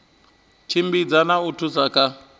tshimbidza na u thusa kha